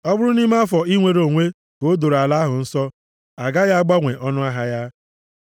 Ọ bụrụ nʼime afọ inwere onwe ka o doro ala ahụ nsọ, agaghị agbanwe ọnụahịa ya.